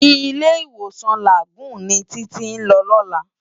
Ilé-Iwósán Lágùn ni Titi n lò lòlá